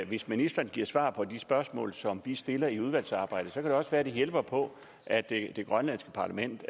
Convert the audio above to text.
hvis ministeren giver svar på de spørgsmål som vi stiller i udvalgsarbejdet så kan det også være det hjælper på at det grønlandske parlament